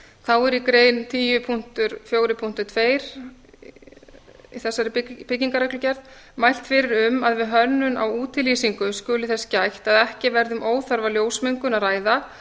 þá er í grein tíu fjögur tvö í þessari byggingarreglugerð mælt fyrir um að við hönnun á útilýsingu skuli þess gætt að ekki verði um óþarfa ljósmengun að ræða